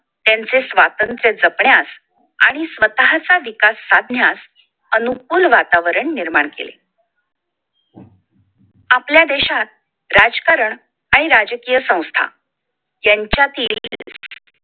त्यांचे स्वातंत्र्य जपण्यास आणि स्वतःचा विकास साधण्यास अनुकूल वातावरण निर्माण केले आपल्या देशात राजकारण आणि राजकीय संस्था यांच्यातील